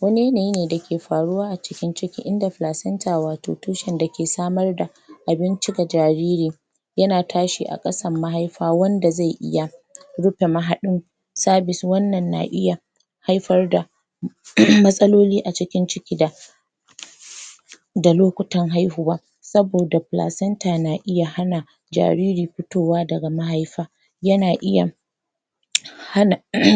wani yanayi ne dake faruwa a cikin ciki inda wato tushen da ke samar da abinci ga jariri yana tashi a ƙasan mahaifa wanda zai iya rufe mahaɗin wannan na iya haifar da matsaloli a cikin ciki da da lokutan haihuwa saboda na iya hana jariri fitowa daga mahaifa yana iya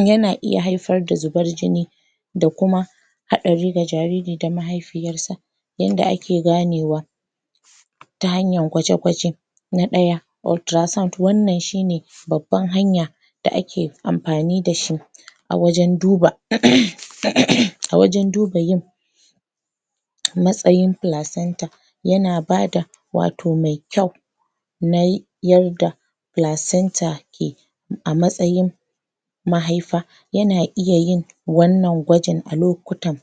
yana iya haifar da zubar jini da kuma haɗari ga jariri da mahaifiyar sa yanda ake ganewa ta hanyan gwaje-gwaje na ɗaya wannan shine babban hanya da ake amfani da shi a wajen duba a wajen duba yin\ matsayin yana bada wato mai kyau nai yarda ke a matsayin mahaifa yana iya yin wannan gwajin a lokutan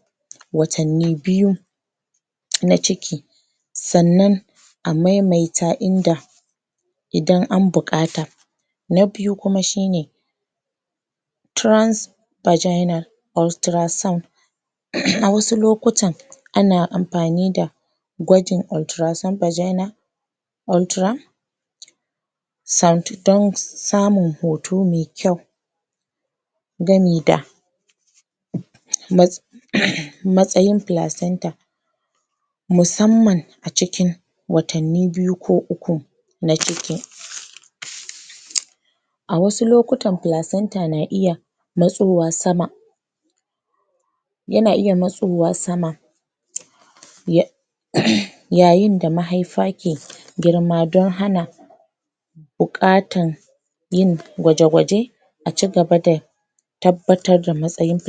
watanni biyu na ciki sannan a maimaita inda idan an buƙata na biyu kuma shine a wasu lokutan ana ampani da gwajin don samun hoto mai kyau gami da matsayin placenta musamman a cikin watanni biyu ko uku na ciki a wasu lokutan na iya matsowa sama yana iya matsowa sama ya yayyin da mahaifa ke girma don hana buƙatan yin gwaje-gwaje a cigaba da tabbatar da matsayin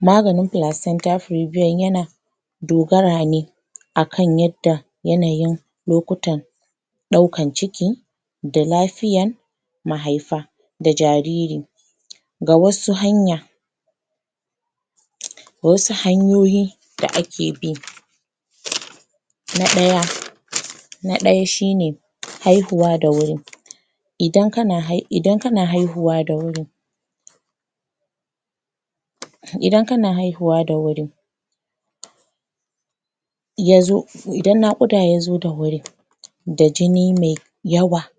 maganin yana dogara ne akan yadda yanayin lokutan ɗaukan ciki da lafiyan mahaifa da jariri ga wasu hanya wasu hanyoyi da ake bi na ɗaya na ɗaya shine haihuwa da wurin idan kana idan kana haihuwa da wuri Idan kana haihuwa da wuri yazo idan naƙuda yazo da wuri da jini mai yawa.